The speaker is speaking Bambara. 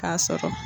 K'a sɔrɔ